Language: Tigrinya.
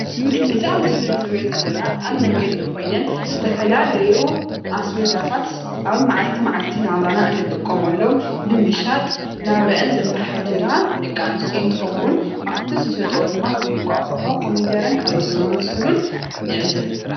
እዚ ኣብ ምስሊ ንሪኦ ዘለና ኣብ መንገዲ ኮይነን ዝተፈላለዩ ኣስቤዛታት ኣብ መዓልቲ መዓልቲ ናብራና እንጥቀመሎም ብምሻጥ ናብርአን ዘመሓድራ ደቂ ኣንስትዮ እንትኸውን ኣብቲ ዝሸጥኦ ድማ ከም እንቋቊሖ፣ ኮሚደረን ካልኦት ዝኣምሰሉን ንዕዘብ፡፡